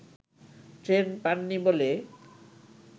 train পান নি বলে